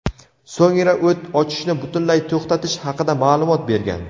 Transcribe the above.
so‘ngra o‘t ochishni butunlay to‘xtatish haqida ma’lumot bergan.